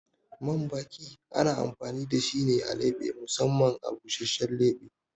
Man baki ana amfani da shi ne a leɓe musamman a busashen leɓe.